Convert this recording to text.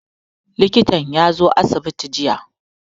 Likitan ya zo asibiti jiya.